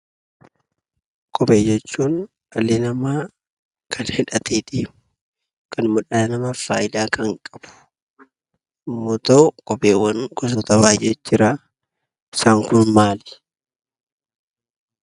Kophee jechuun dhalli namaa kan hidhatee deemu, kan miila namaaf faayidaa kan qabu yoo ta'u, kopheewwan gosoota baay'eet jira. Isaan kun maali?